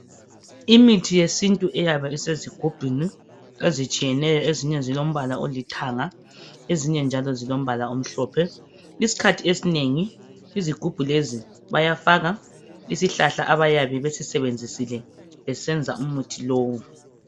Imithi yesintu iyabe isezigubhini ezitshiyeneyo, ezinye zilombala olithanga, ezinye njalo zilombala omhlophe. Isikhathi esinengi izigubhu lezi bayafaka isihlahla abayabe besisebenzisile besenza umuthi lowu.